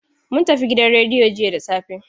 Mun tafi gidan rediyo jiya da safe.